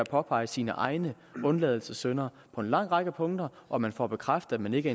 påpeger sine egne undladelsessynder på en lang række punkter og man får bekræftet at man ikke